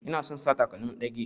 Ina son sa takalmin ɗage.